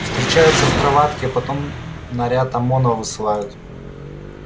встречаются в кроватке а потом наряд омона высылают